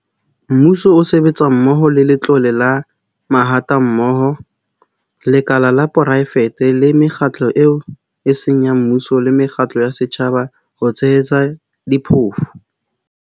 Mmuso o sebetsa mmoho le Letlole la Mahatammoho, lekala la poraefete le mekgatlo eo e seng ya mmuso le mekgatlo ya setjhaba ho tshehetsa diphofu.